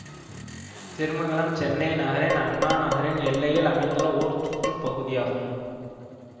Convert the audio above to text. திருமங்கலம் சென்னை நகரின் அண்ணா நகரின் எல்லையில் அமைந்துள்ள ஓர் சுற்று பகுதியாகும்